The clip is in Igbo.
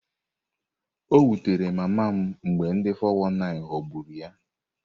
O wutere mama m mgbe ndi 419 ghọgburu ya.